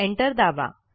enter दाबा